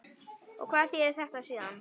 Og hvað þýðir þetta síðan?